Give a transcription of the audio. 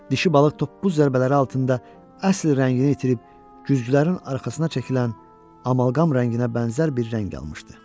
Dişi balıq toppuz zərbələri altında əsl rəngini itirib güzgülərin arxasına çəkilən amalqam rənginə bənzər bir rəng almışdı.